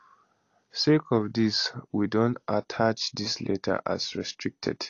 sake of dis we don attach dis letter as restricted